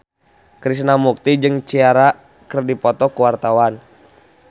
Krishna Mukti jeung Ciara keur dipoto ku wartawan